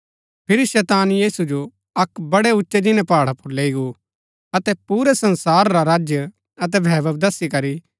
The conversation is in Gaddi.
फिरी शैतान यीशु जो अक्क बड़े उच्चै जिन्‍नै पहाड़ा पुर लैई गो अतै पुरै संसार रा राज्य अतै वैभव दसी करी